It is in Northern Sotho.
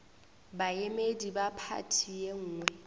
baemedi ba phathi ye nngwe